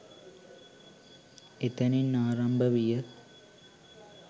එතැනින් ආරම්භ විය.